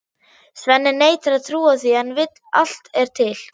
Svenni neitar að trúa því en allt er til.